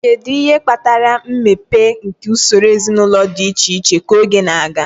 Kedu ihe kpatara mmepe nke usoro ezinụlọ dị iche iche ka oge na-aga?